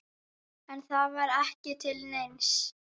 En það var ekki til neins.